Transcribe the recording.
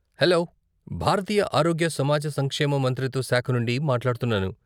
Hello, భారతీయ ఆరోగ్య సమాజ సంక్షేమ మంత్రిత్వ శాఖ నుండి మాట్లాడుతున్నాను.